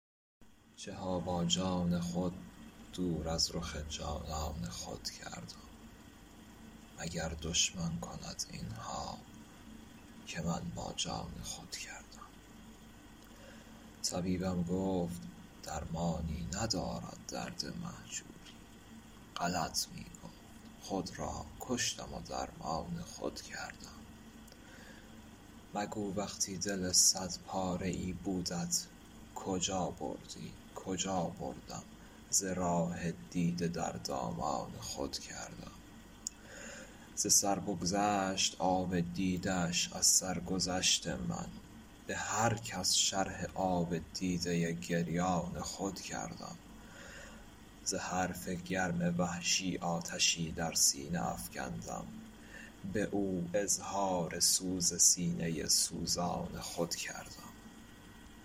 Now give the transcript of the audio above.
چه ها با جان خود دور از رخ جانان خود کردم مگر دشمن کند این ها که من با جان خود کردم طبیبم گفت درمانی ندارد درد مهجوری غلط می گفت خود را کشتم و درمان خود کردم مگو وقتی دل صد پاره ای بودت کجا بردی کجا بردم ز راه دیده در دامان خود کردم ز سر بگذشت آب دیده اش از سرگذشت من به هر کس شرح آب دیده گریان خود کردم ز حرف گرم وحشی آتشی در سینه افکندم به او اظهار سوز سینه سوزان خود کردم